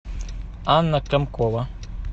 анна комкова